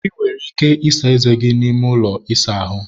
ị nwere ike ịsa eze n'ime ụlọ ịsa ahụ